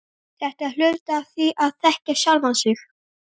Þetta er hluti af því að þekkja sjálfan sig.